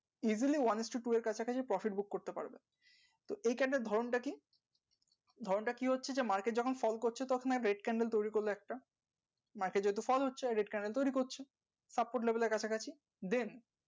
easily one is to two এর কাছাকাছি profit book করতে পারবে তো এই candle এর ধরণ টা কি ধরণটা কি হচ্ছে যে market যখন fall করছে তো ওখানে red candle তৌরি করলো একটা market যেহেতু fall হচ্ছে red candle তৈরী করছে সাত ফুট level এর কাছাকাছি then